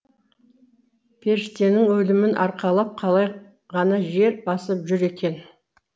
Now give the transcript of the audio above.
періштенің өлімін арқалап қалай ғана жер басып жүр екен